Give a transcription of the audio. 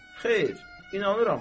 Xeyr, inanıram da.